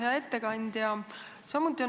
Hea ettekandja!